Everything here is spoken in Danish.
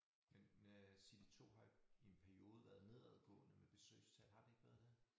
Men øh City2 har i en periode været nedadgående med besøgstal har det ikke været det?